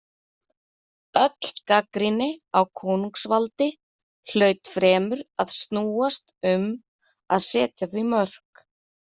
Öll gagnrýni á konungsvaldi hlaut fremur að snúast um að setja því mörk.